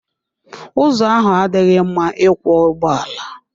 Ụzọ ahụ adịghị mma ịkwọ ụgbọala.